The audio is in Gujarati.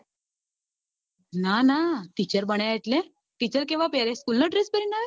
ના ના teacher બન્યા એટલે teacher કેવા પેરે school નો dress પેરી આવે